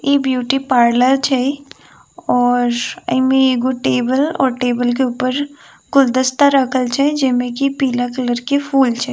इ beauty parlour छै और एमे एगो टेबल और टेबल के ऊपर गुलदस्ता रखल छै जेमे की पीला कलर के फूल छै।